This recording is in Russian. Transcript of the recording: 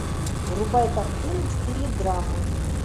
врубай картину в стиле драмы